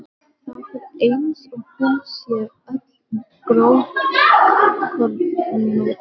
Það er eins og hún sé öll grófkornóttari.